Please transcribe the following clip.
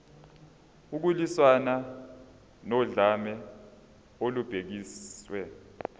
ukulwiswana nodlame olubhekiswe